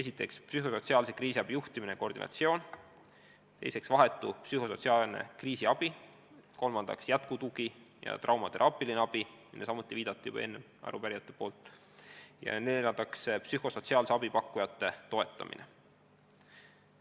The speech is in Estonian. Esiteks, psühhosotsiaalse kriisiabi juhtimine ja koordineerimine; teiseks, vahetu psühhosotsiaalne kriisiabi; kolmandaks, jätkutugi ja traumateraapiline abi, millele ka arupärijad viitasid, ja neljandaks, psühhosotsiaalse abi pakkujate toetamine.